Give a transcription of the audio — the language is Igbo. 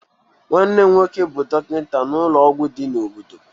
Nwanne m nwoke bụ dọkịta n'ụlọ ọgwụ di na obodo.